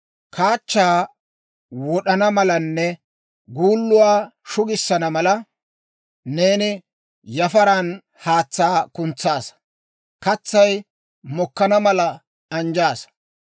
Kaachaa wod'ana malanne guulluwaa shugissana mala, neeni yafaran haatsaa kuntsaassa; katsay mokkana mala anjjaasa.